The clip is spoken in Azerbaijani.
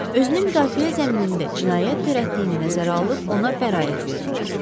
Özünü müdafiə zəminində cinayət törətdiyini nəzərə alıb ona bəraət verdilər.